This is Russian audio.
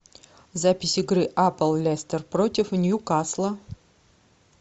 запись игры апл лестер против ньюкасла